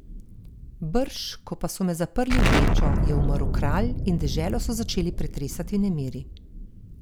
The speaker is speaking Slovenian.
Brž ko pa so me zaprli v ječo, je umrl kralj in deželo so začeli pretresati nemiri.